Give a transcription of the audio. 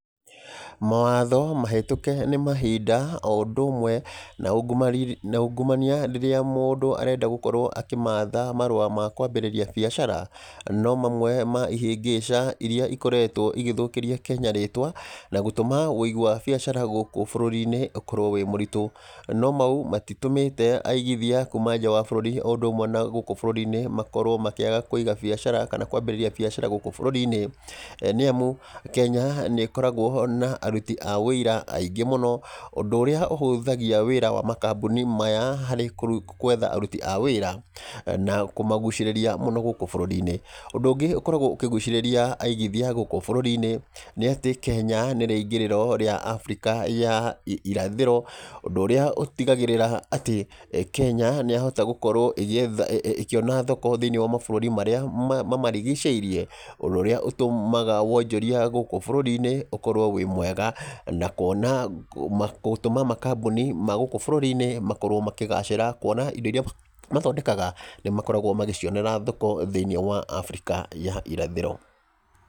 Mawatho mahetũke nĩ mahinda, o ũndũ ũmwe na na ungumania rĩrĩa mũndũ arenda gũkorwo akĩmatha marũa ma kwambĩrĩria biacara, no mamwe ma ihĩngĩca irĩa ikoretwo igĩthũkĩria Kenya rĩtwa, na gũtũma wĩigi wa biacara gũkũ bũrũri-inĩ ũkorwo wĩ mũritũ. No mau, matitũmĩte aigithia kuuma nja wa bũrũri, o ũndũ ũmwe na gũkũ bũrũri-inĩ, makorwo makĩaga kũiga biacara, kana kwambĩrĩria biacara gũkũ bũrũri-inĩ. Nĩ amu, Kenya nĩ ĩkoragwo na aruti a wĩira aingĩ mũno, ũndũ ũrĩa ũhũthagia wĩra makambuni maya harĩ kwetha aruti a wĩra, na kũmagucĩrĩra mũno gũkũ bũrũri-inĩ. Ũndũ ũngĩ ũkoragwo ũkĩgucĩrĩra aigithia gũkũ bũrũri-inĩ, nĩ atĩ Kenya nĩ rĩingĩrĩro rĩa Africa ya irathĩro, ũndũ ũrĩa ũtigagĩrĩra atĩ, Kenya nĩ yahota gũkorwo ĩgĩetha ĩkĩona thoko thĩiniĩ wa mabũrũri marĩa mamarigicĩirie. Ũndũ ũrĩa ũtũmaga wonjoria gũkũ bũrũri-inĩ ũkorwo wĩ mwega. Na kuona gũtũma makambuni ma gũkũ bũrũri-inĩ makorwo makĩgacĩra, kuona indo irĩa mathondekaga, nĩ makoragwo magĩcionera thoko thĩiniĩ wa Africa ya irathĩro.